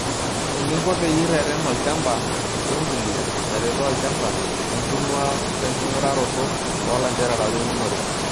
Eeninko peyie ireten olchamba wembuliya naretoo olchamba, enintung'uaa wenkinguraroto oo lanterera weeunore.